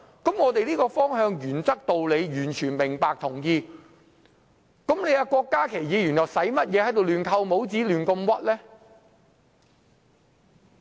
對於這個方向、原則和道理，我們完全明白和同意，郭家麒議員又何需亂扣帽子，胡亂冤枉別人呢？